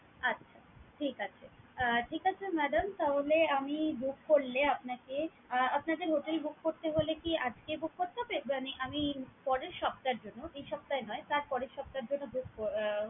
আচ্ছা! ঠিক আছে। ঠিক আছে madam তাহলে আমি book করলে আপনাকে আহ আপনাদের hotel book করতে হলে কি আজকে book করতে হবে? আমি পরের সপ্তাহের জন্য এই সপ্তাহে নয় তার পরের সপ্তাহের জন্য book আহ